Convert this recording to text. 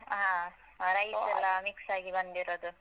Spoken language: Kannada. ಹ ಆ rice ಎಲ್ಲ mix ಆಗಿ ಬಂದಿರದು.